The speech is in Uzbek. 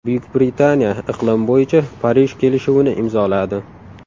Buyuk Britaniya iqlim bo‘yicha Parij kelishuvini imzoladi.